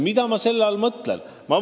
Mida ma selle all mõtlen?